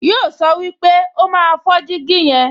Yíò sọ pé, "O máa fọ́ jígí yẹn"